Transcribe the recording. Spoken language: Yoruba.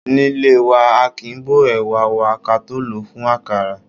Nílé wa, aàkín bó ẹ̀wà wa ka tó lòó fún àkàrà.